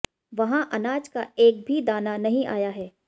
वहां अनाज का एक भी दाना नहीं आया है